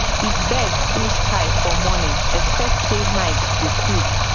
if bird full sky for morning expect say night go cool